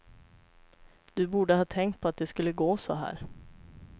Du borde ha tänkt på att det skulle gå så här.